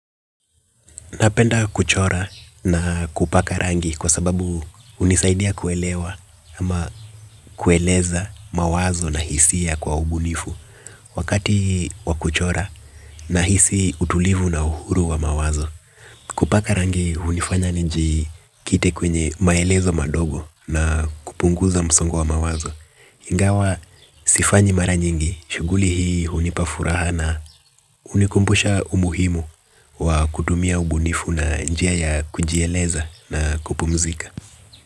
Napenda kuchora na kupaka rangi kwa sababu hunisaidia kuelewa ama kueleza mawazo na hisia kwa ubunifu. Wakati wakuchora na hisi utulivu na uhuru wa mawazo. Kupaka rangi hunifanya nji kite kwenye maelezo madogo na kupunguza msongo wa mawazo. Ingawa sifanyi mara nyingi, shuguli hii hunipafuraha na hunikumbusha umuhimu wa kutumia ubunifu na njia ya kujieleza na kupumzika.